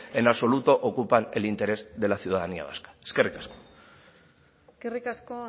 en absoluto ocupan el interés de la ciudadanía vasca eskerrik asko eskerrik asko